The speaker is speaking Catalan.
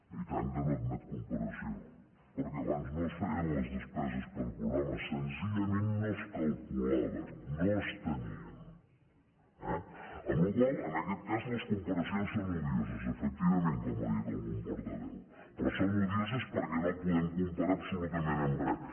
i tant que no admet comparació perquè abans no es feien les despeses per programa senzillament no es calculaven no es tenien eh per la qual cosa en aquest cas les comparacions són odioses efectivament com ha dit algun portaveu però són odioses perquè no ho podem comparar absolutament amb res